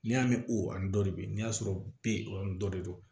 N'i y'a mɛn ko a ni dɔ de bɛ yen n'i y'a sɔrɔ b dɔ de don